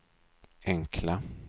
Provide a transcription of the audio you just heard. enkla